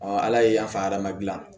ala ye yan fa hadamaden